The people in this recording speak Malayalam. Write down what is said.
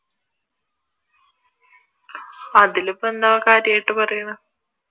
അതിലിപ്പോ എന്താ കാര്യമായിട്ട് പറയുന്നെ?